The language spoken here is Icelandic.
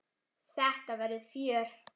Þetta verður fjör.